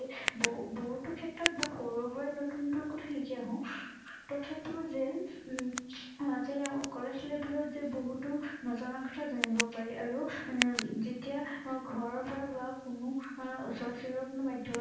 ববহুতো ক্ষেত্ৰত বা সৰু- সুৰায়ে নতুন নতুন কথা শিকি আহো, তথাপিও যেন, উম আহ কলেজ level ত যে বহুতো নজনা কথা জানিব পাৰি আৰু যেতিয়া ঘৰৰ পৰা বা কোনো ওচৰ চুবুৰীয়াৰ কোনো ব্যাধগত